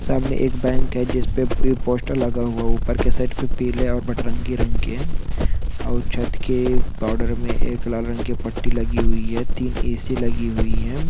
सामने एक बैंक है जिस पे प-- पोस्टर लगा हुआ ऊपर की साइड पे पिले और भटरंगी रंग के और छत के बॉर्डर में एक लाल रंग की एक पट्टी लगी हुई है तीन ऐ. सी. लगी हुई है।